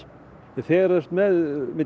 þegar þú ert með